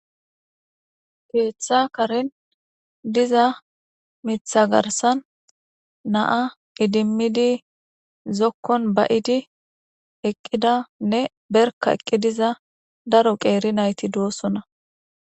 keeththa karin diza mitha garsan naa idimmidi zokkon ba7idi eqqidanne berka eqqi diza daro qeeri nayti duosuna.